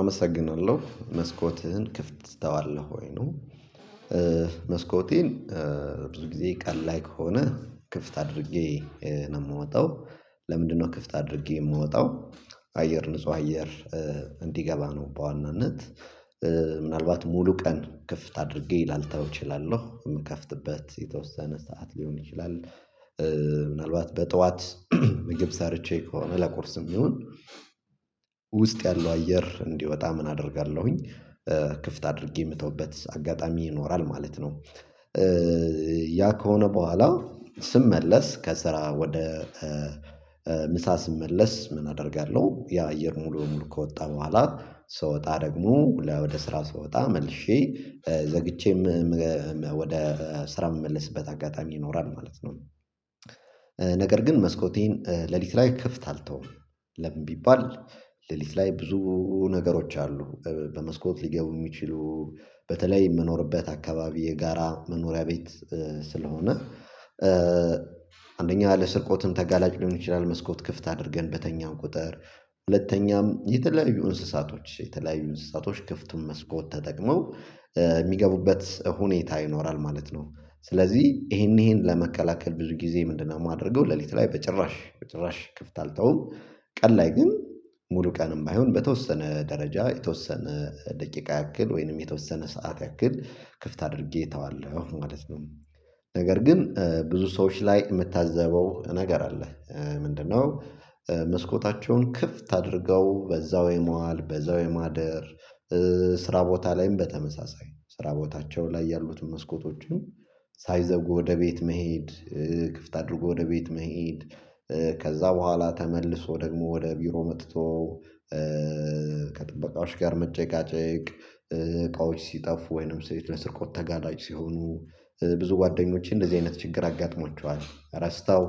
አመሰግናለሁ። መስኮትህን ክፍት ትተዋለህ ወይ ነው? መስኮቴን ብዙ ጊዜ ቀን ላይ ከሆነ ክፍት አድርጌ ነው የምወጣው። ለምንድነው ክፍት አድርጌ የምወጣው? አየር ንጹህ አየር እንዲገባ ነው በዋናነት ምናልባት ሙሉ ቀን ክፍት አድርጌ ላልተው እችላለሁ። የምከፍትበት የተወሰነ ሰዓት ሊሆን ይችላል ምናልባት በጠዋት ምግብ ሰርቼ ከሆነ ለቁርስም ይሁን ውስጥ ያለው አየር እንዲወጣ ምን አደርጋለሁኝ ክፍት አድርጌ የምተውበት አጋጣሚ ይኖራል ማለት ነው። ያ ከሆነ በኋላ ስመለስ ከስራ ወደ ምሳ ስመለስ ምን አደርጋለሁ ያ አየር ሙሉ በሙሉ ከወጣ በኋላ ስወጣ ደግሞ ወደ ስራ ስወጣ መልሼ ዘግቼም ወደ ስራ የምመለስበት አጋጣሚ ይኖራል ማለት ነው። ነገር ግን መስኮቴን ሌሊት ላይ ክፍት አልተውም። ለምን ቢባል ሌሊት ላይ ብዙ ነገሮች አሉ በመስኮት ሊገቡ የሚችሉ በተለይ የምኖርበት አካባቢ የጋራ መኖሪያ ቤት ስለሆነ አንደኛ ለስርቆትም ተጋላጭ ሊሆን ይችላል መስኮት ክፍት አድርገን በተኛው ቁጥር፣ ሁለተኛም የተለያዩ እንስሳቶች የተለያዩ እንስሳቶች ክፍቱን መስኮት ተጠቅመው የሚገቡበት ሁኔታ ይኖራል ማለት ነው። ስለዚህ ይሄን ይሄን ለመከላከል ብዙ ጊዜ ምንድነው የማደርገው ሌሊት ላይ በጭራሽ በጭራሽ ክፍት አልተውም። ቀን ላይ ግን ሙሉ ቀንም ባይሆን በተወሰነ ደረጃ የተወሰነ ደቂቃ ያክል ወይንም የተወሰነ ሰዓት ያክል ክፍት አድርጌ እተዋለሁ ማለት ነው። ነገር ግን ብዙ ሰዎች ላይ የምታዘበው ነገር አለ። ምንድነው መስኮታቸውን ክፍት አድርገው በዛው የመዋል በዛው የማደር ስራ ቦታ ላይም በተመሳሳይ ስራ ቦታቸው ላይ ያሉትን መስኮቶቹን ሳይዘጉ ወደ ቤት መሄድ ክፍት አድርጎ ወደ ቤት መሄድ። ከዛ በኋላ ተመልሶ ደግሞ ወደ ቢሮ መጥቶ ከጥበቃዎች ጋር መጨቃጨቅ እቃዎች ሲጠፉ ወይንም ስርቆት ተጋጭ ሲሆኑ ብዙ ጓደኞቼ እንደዚህ አይነት ችግር አጋጥሟቸዋል። ረስተው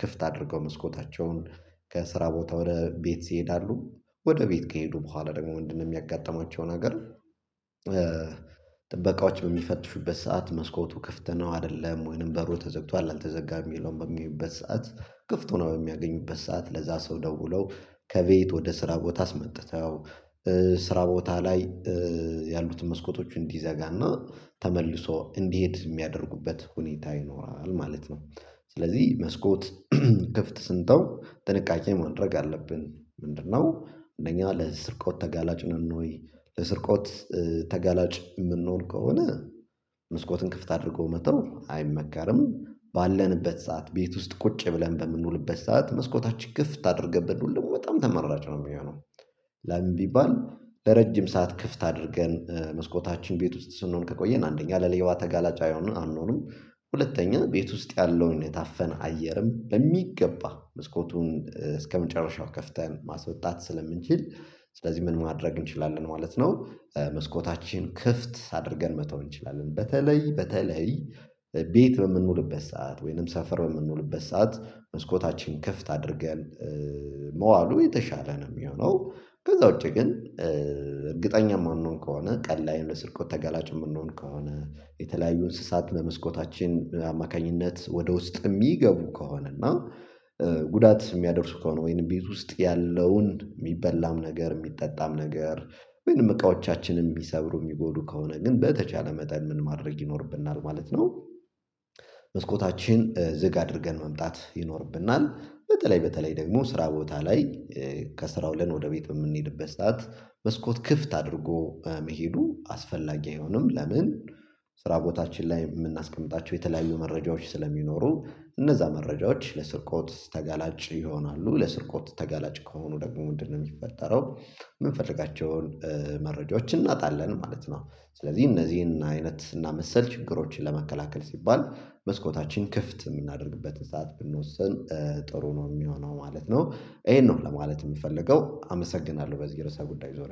ክፍት አድርገው መስኮታቸውን ከስራ ቦታ ወደ ቤት ይሄዳሉ። ወደ ቤት ከሄዱ በኋላ ደግሞ ምንድነው የሚያጋጥማቸው ነገር ጥበቃዎች በሚፈትፉበት ሰዓት መስኮቱ ክፍት ነው አይደለም ወይንም በሩ ተዘግቷል አልተዘጋም የሚለውን በሚያዩበት ሰዓት ክፍት ሆኖ በሚያገኙበት ሰዓት ለዛ ሰው ደውለው ከቤት ወደ ስራ ቦታ አስመጥተው ስራ ቦታ ላይ ያሉትን መስኮቶች እንዲዘጋና ተመልሶ እንዲሄድ የሚያደርጉበት ሁኔታ ይኖራል ማለት ነው። ስለዚህ መስኮት ክፍት ስንተው ጥንቃቄ ማድረግ አለብን። ምንድነው እንደኛ ለስርቆት ተጋላጭ ነን ወይ ለስርቆት ተጋላጭ የምንሆን ከሆነ መስኮትን ክፍት አድርጎ መተው አይመከርም። ባለንበት ሰዓት ቤት ውስጥ ቁጭ ብለን በምንውልበት ሰዓት መስኮታችን ክፍት አድርገን ብንውል ደግሞ በጣም ተመራጭ ነው የሚሆነው። ለምን ቢባል ለረጅም ሰዓት ክፍት አድርገን መስኮታችን ቤት ውስጥ ስንሆን ከቆየን፣ አንደኛ ለሌባ ተጋላጫ የአይሆንም አንሆንም፣ ሁለተኛ ቤት ውስጥ ያለውን የታፈነ አየርም በሚገባ መስኮቱን እስከመጨረሻው ከፍተን ማስወጣት ስለምንችል ስለዚህ ምን ማድረግ እንችላለን ማለት ነው መስኮታችን ክፍት አድርገን መተው እንችላለን። በተለይ በተለይ ቤት በምንውልበት ሰዓት ወይንም ሰፈር በምንውልበት ሰዓት መስኮታችን ክፍት አድርገን መዋሉ የተሻለ ነው የሚሆነው። ከዛ ውጪ ግን እርግጠኛ የማንሆን ከሆነ ቀልድ ላይ ለስርቆት ተጋላጭ የምንሆን ከሆነ የተለያዩ እንስሳት በመስኮታችን አማካኝነት ወደ ውስጥ የሚገቡ ከሆነ እና ጉዳት የሚያደርሱ ከሆነ ወይንም ቤት ውስጥ ያለውን የሚበላም ነገር፣ የሚጠጣም ነገር ወይንም እቃዎቻችንን ቢሰብሩ የሚጎዱ ከሆነ ግን በተቻለ መጠን ምን ማድረግ ይኖርብናል ማለት ነው መስኮታችን ዝግ አድርገን መምጣት ይኖርብናል። በተለይ በተለይ ደግሞ ስራ ቦታ ላይ ከስራው ውለን ወደ ቤት በምንሄድበት ሰዓት መስኮት ክፍት አድርጎ መሄዱ አስፈላጊ አይሆንም። ለምን ስራ ቦታችን ላይ የምናስቀምጣቸው የተለያዩ መረጃዎች ስለሚኖሩ እነዛ መረጃዎች ለስርቆት ተጋላጭ ይሆናሉ። ለስርቆት ተጋላጭ ከሆኑ ደግሞ ምንድን ነው የሚፈጠረው ምንፈልጋቸውን መረጃዎችን እናጣለን ማለት ነው። ስለዚህ እነዚህን አይነትና ስናመሰል ችግሮችን ለመከላከል ሲባል መስኮታችን ክፍት የምናደርግበትን ሰዓት ብንወስን ጥሩ ነው የሚሆነው ማለት ነው ይሄን ነው ለማለት የምፈልገው አመሰግናለሁ በዚህ ርዕሰ ጉዳይ ዙሪያ።